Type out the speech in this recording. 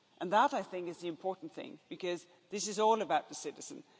That, I think, is the important thing, because this is all about the citizen.